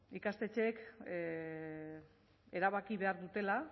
ikastetxeek erabaki behar dutela